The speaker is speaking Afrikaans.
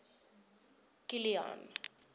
kilian